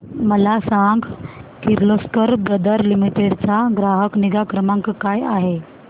मला सांग Kirloskar brother limited चा ग्राहक निगा क्रमांक काय आहे